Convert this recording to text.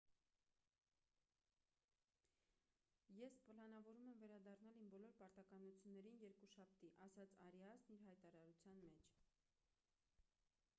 ես պլանավորում եմ վերադառնալ իմ բոլոր պարտականություններին երկուշաբթի»,- ասաց արիասն իր հայտարարության մեջ: